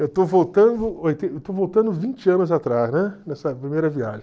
Eu estou voltando eu estou voltando vinte anos atrás, né, nessa primeira viagem.